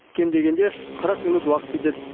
кем дегенде қырық минут уақыт кетеді